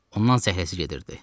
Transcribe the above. Ondan zəhləsi gedirdi.